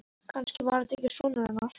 Kannski var þetta ekki sonur hennar.